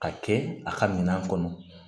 Ka kɛ a ka minɛn kɔnɔ